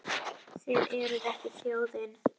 Þið eruð ekki þjóðin!